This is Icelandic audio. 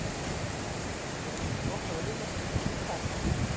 Getur ekki lokað augunum eftir lýtaaðgerð